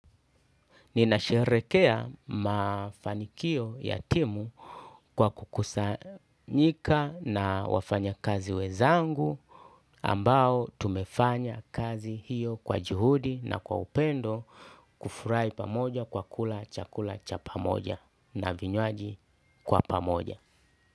Ninasherekea mafanikio ya timu kwa kukusanyika na wafanyakazi wezangu ambao tumefanya kazi hiyo kwa juhudi na kwa upendo kufurai pamoja kwa kula chakula cha pamoja na vinywaji kwa pamoja.